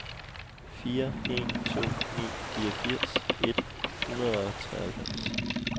fire en to ni fireogfirs et hundrede og treoghalvfems